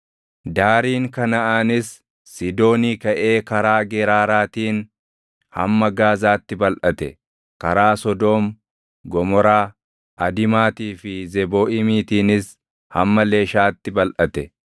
daariin Kanaʼaanis Siidoonii kaʼee karaa Geraaraatiin hamma Gaazaatti balʼate; karaa Sodoom, Gomoraa, Adimaatii fi Zebooʼiimiitiinis hamma Leshaatti balʼate.